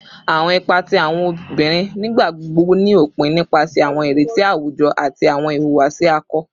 Awọn ipa ti awọn obinrin nigbagbogbo ni opin nipasẹ awọn ireti awujọ ati awọn iwuwasi akọ